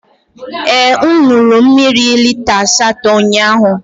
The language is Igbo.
Ee, m ṅụrụ mmiri lita asatọ ụnyahụ.